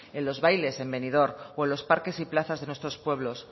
en los bailes en benidorm o en los parques y plazas de nuestros pueblos